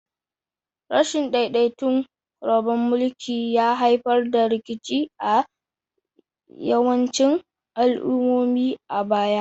Rashin daidaiton rabon mulki ya haifar da rikici a yawancin al'ummomi a baya.